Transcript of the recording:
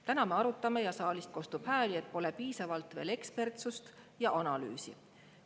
Täna me arutame seda ja saalist kostab hääli, et pole piisavalt veel ekspertsust ja analüüsi.